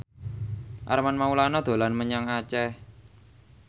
Armand Maulana dolan menyang Aceh